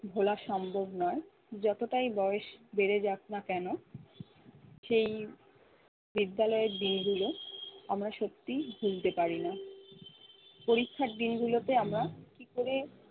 ভোলা সম্ভব নয়। যতটাই বয়স বেড়ে যাক না কেন সেই বিদ্যালয় দিনগুলো আমরা সত্যিই ভুলতে পারিনা। পরীক্ষার দিনগুলোতে আমরা কি করে